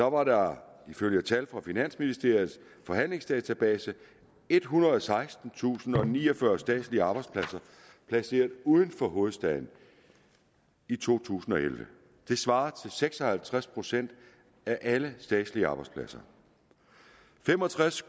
år var der ifølge tal fra finansministeriets forhandlingsdatabase ethundrede og sekstentusindniogfyrre statslige arbejdspladser placeret uden for hovedstaden i to tusind og elleve det svarer til seks og halvtreds procent af alle statslige arbejdspladser fem og tres